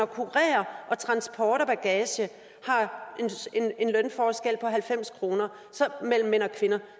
kurer og transport af bagage har en lønforskel på halvfems kroner mellem mænd og kvinder